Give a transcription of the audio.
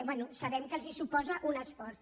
bé sabem que els suposa un esforç